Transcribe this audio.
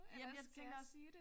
Jamen jeg tænkte også